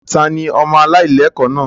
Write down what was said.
Ta ni ọmọ aláìlẹ́kọ̀ọ́ náà?